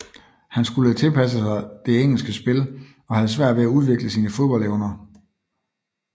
Han skulle tilpasse sig det engelske spil og havde svært ved at udvikle sine fodboldevner